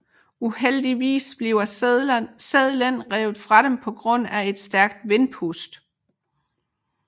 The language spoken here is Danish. Uheldigvis bliver seddelen revet fra dem på grund af et stærkt vindpust